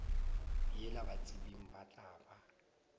yela batsebing ba tla ba